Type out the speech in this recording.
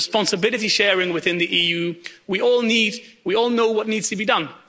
responsibility sharing within the EU we all know what needs to be done.